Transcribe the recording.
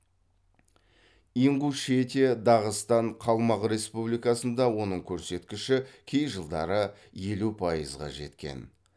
ингушетия дағыстан қалмақ республикасында оның керсеткіші кей жылдары елу пайызға жеткен